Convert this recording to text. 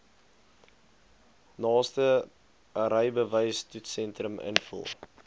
naaste rybewystoetssentrum invul